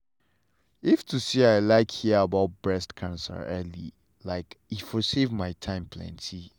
if to say if to say i hear about breast cancer early like e for save my time plenty.